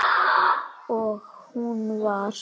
Og hún var